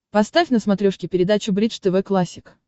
поставь на смотрешке передачу бридж тв классик